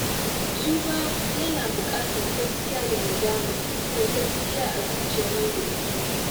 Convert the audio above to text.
Tuba yana buƙatar gaskiya da nadama ta gaske a zuciyar wanda ya tuba.